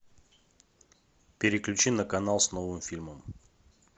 переключи на канал с новым фильмом